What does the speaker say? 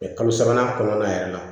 kalo sabanan kɔnɔna yɛrɛ la